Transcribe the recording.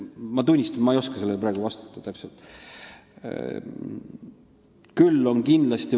Ma tunnistan, et ma ei oska sellele praegu täpselt vastata.